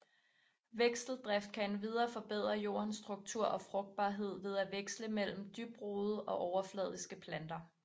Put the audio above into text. Vekseldrift kan endvidere forbedre jordens struktur og frugtbarhed ved at veksle mellem dybtrodede og overfladiske planter